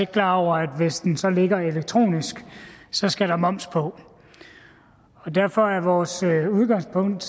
klar over at hvis den så ligger elektronisk skal der moms på derfor er vores udgangspunkt